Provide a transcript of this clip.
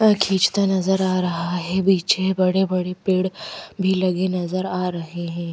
अ खींचता नजर आ रहा है पीछे बड़े बड़े पेड़ भी लगे नजर आ रहे हैं।